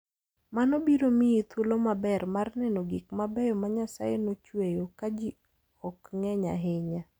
Mano biro miyi thuolo maber mar neno gik mabeyo ma Nyasaye nochueyo ka ji ok ng'eny ahinya.